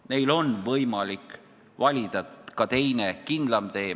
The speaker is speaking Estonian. Neil on võimalik valida ka teine, kindlam tee.